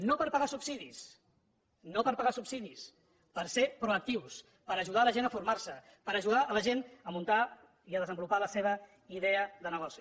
no per pagar subsidis no per pagar subsidis per ser proactius per ajudar la gent a formar se per ajudar la gent a muntar i a desenvolupar la seva idea de negoci